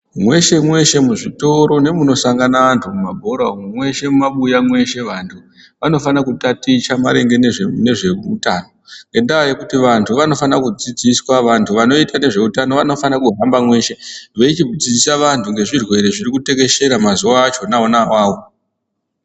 Mweshe-mweshe muzvitoro nemunosangana antu, mumabhora umo mweshe mumabuya mweshe, vantu vanofana kutaticha maringe nezveutano, ngendaa yekuti vantu vanofane kudzidziswa. Vantu vanoite ngezveutano vanofane kuhamba mweshe veichidzidzisa vantu ngezvirwere zvirikutekeshera mazuwa achona ona awawo.